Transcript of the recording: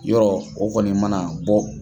Yɔrɔ o kɔni mana bɔ.